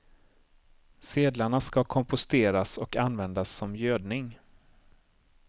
Sedlarna ska komposteras och användas som gödning.